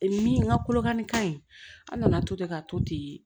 Min ka kolokanni ka ɲi an nana to ten ka to ten